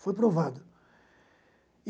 Foi provado.